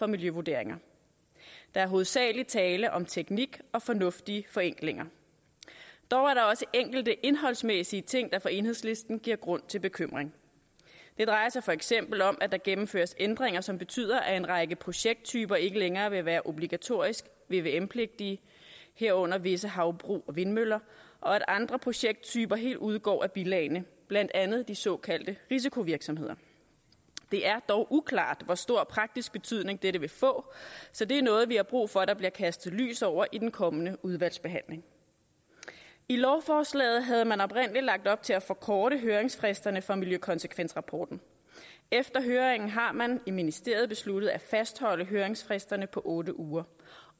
miljøvurderinger der er hovedsagelig tale om teknik og fornuftige forenklinger dog er der også enkelte indholdsmæssige ting der for enhedslisten giver grund til bekymring det drejer sig for eksempel om at der gennemføres ændringer som betyder at en række projekttyper ikke længere vil være obligatorisk vvm pligtige herunder visse havbrug og vindmøller og at andre projekttyper helt udgår af bilagene blandt andet de såkaldte risikovirksomheder det er dog uklart hvor stor praktisk betydning dette vil få så det er noget vi får brug for at der bliver kastet lys over i den kommende udvalgsbehandling i lovforslagene havde man oprindelig lagt op til at forkorte høringsfristerne for miljøkonsekvensrapporten efter høringen har man i ministeriet besluttet at fastholde høringsfristerne på otte uger